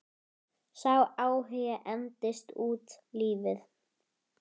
Sá áhugi entist út lífið.